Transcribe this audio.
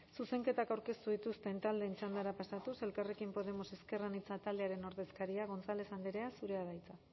zuzenketak aurkeztu dituzten taldeen txandara pasatuz elkarrekin podemos ezker anitza taldearen ordezkaria gonzález andrea zurea da hitza